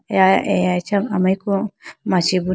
eya aya acha amariku machi bo na.